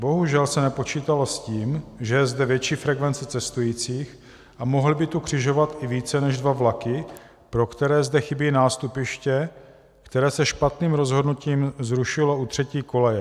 Bohužel se nepočítalo s tím, že je zde větší frekvence cestujících a mohly by tu křižovat i více než dva vlaky, pro které zde chybí nástupiště, které se špatným rozhodnutím zrušilo u třetí koleje.